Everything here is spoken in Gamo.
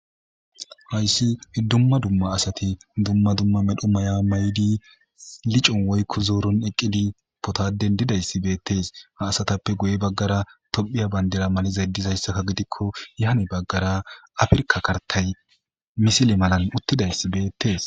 Hayssi ddumma dumma asati dumma dumma medho maya maydi licon woykko zooron eqqidi potaden didayssi beettees ha asatappe guye baggara tophiya bandera malizay dizayssakka gidikko yaane baggara afirka kartay misile malan uttidayssi beettees.